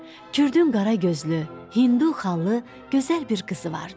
Kürdün qara gözlü, Hindulu xallı, gözəl bir qızı vardı.